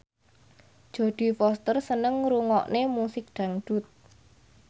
Jodie Foster seneng ngrungokne musik dangdut